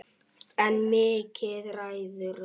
En Mikki ræður.